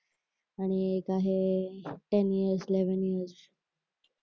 आणि एक आहे टेन इयर्स इलेव्हन इयर्स